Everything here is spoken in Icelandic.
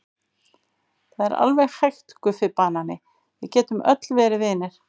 Það er alveg hægt Guffi banani, við getum öll verið vinir.